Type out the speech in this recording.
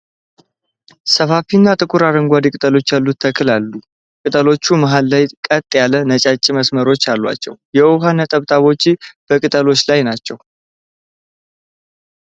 ሰፋፊ እና ጥቁር አረንጓዴ ቅጠሎች ያሉት ተክል አሉ። ቅጠሎቹ መሃል ላይ ቀጥ ያሉ ነጫጭ መስመሮች አሏቸው። የውሃ ነጠብጣቦች በቅጠሎቹ ላይ ናቸው።